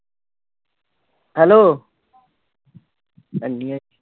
hello ਹਾਂਜੀ